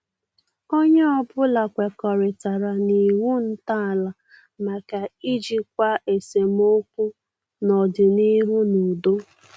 Onye ọbụla kwekọritara na iwu ntọala maka ijikwa esemokwu n'ọdịnihu n' udo.